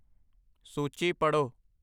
ਸੂਚੀ ਪੜ੍ਹੋ